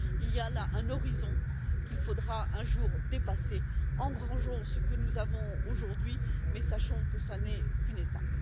Il y a là une limite qu'il faudra un jour dépasser engrangeons ce que nous avons aujourd'hui, mais sachons que ce n'est qu'une étape.